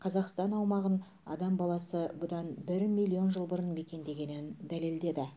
қазақстан аумағын адам баласы бұдан бір миллион жыл бұрын мекендегенін дәлелдеді